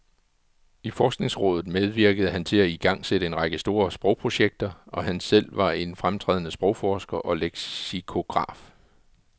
I forskningsrådet medvirkede han til at igangsætte en række store sprogprojekter, og han var selv en fremtrædende sprogforsker og leksikograf.